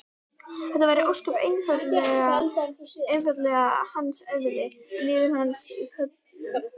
Þetta væri ósköp einfaldlega hans eðli, liður í hans köllun.